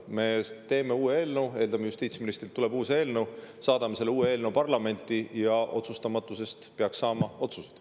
Me teeme uue eelnõu või me eeldame, et justiitsministrilt tuleb uus eelnõu, saadame selle uue eelnõu parlamenti ja otsustamatusest peaksid saama otsused.